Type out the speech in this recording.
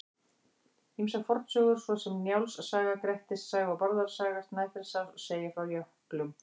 Ýmsar fornsögur svo sem Njáls saga, Grettis saga og Bárðar saga Snæfellsáss segja frá jöklum.